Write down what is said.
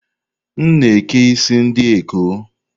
M na eke isi ndị ekọ́